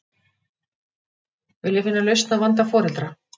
Vilja finna lausn á vanda foreldra